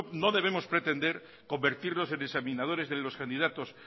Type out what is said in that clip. no debemos pretender convertirnos en examinadores de los candidatos